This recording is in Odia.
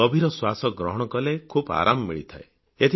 ଗଭୀର ଶ୍ୱାସ ଗ୍ରହଣ କଲେ ଖୁବ୍ ଆରାମ ମିଳିଥାଏ